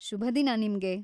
ಶುಭ ದಿನ ನಿಮ್ಗೆ.